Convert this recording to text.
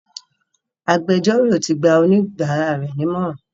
Agbẹjọ́rò ti gba oníbàárà rẹ̀ nímọ̀ràn.